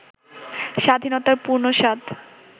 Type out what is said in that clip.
স্বাধীনতার পূর্ণ স্বাদ